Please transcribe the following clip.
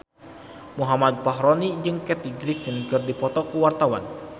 Muhammad Fachroni jeung Kathy Griffin keur dipoto ku wartawan